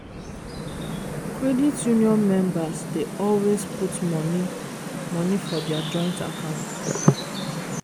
credit union members dey always put money money for dia joint account.